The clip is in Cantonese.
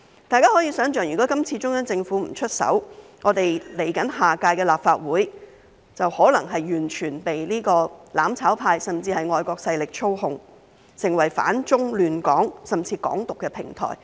大家可以想象，如果今次中央政府不出手，我們來屆立法會便可能是完全被"攬炒派"，甚至外國勢力操控，成為反中亂港甚至"港獨"的平台。